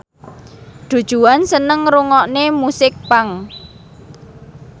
Du Juan seneng ngrungokne musik punk